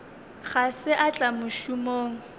ga se a tla mošomong